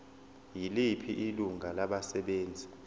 yiliphi ilungu labasebenzi